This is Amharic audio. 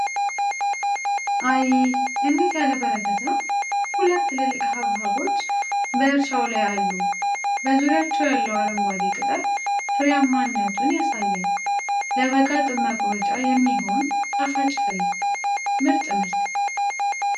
አይይይ! እንዴት ያለ በረከት ነው! ሁለት ትልልቅ ሐብሐቦች በእርሻው ላይ አሉ! በዙሪያቸው ያለው አረንጓዴ ቅጠል ፍሬያማነቱን ያሳያል! ለበጋ ጥም መቁረጫ የሚሆን ጣፋጭ ፍሬ! ምርጥ ምርት!